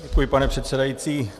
Děkuji, pane předsedající.